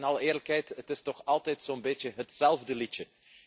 Want in alle eerlijkheid het is toch altijd zo'n beetje hetzelfde liedje.